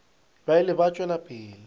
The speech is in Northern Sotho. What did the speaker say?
ba ile ba tšwela pele